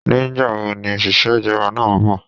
Ní gbà wo ni òṣìṣẹ́ ìjọba náà nbò?